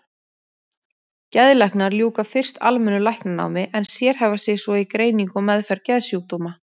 Geðlæknar ljúka fyrst almennu læknanámi en sérhæfa sig svo í greiningu og meðferð geðsjúkdóma.